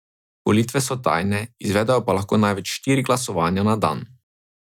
Volitve so tajne, izvedejo pa lahko največ štiri glasovanja na dan.